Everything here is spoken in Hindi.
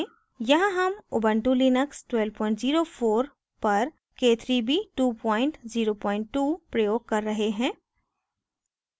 यहाँ हम ubuntu लिनक्स 1204 पर k3b 202 प्रयोग कर रहे हैं